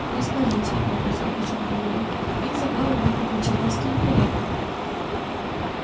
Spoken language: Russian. не скажите локонс покачал головой их забавы могут быть чертовски неприятны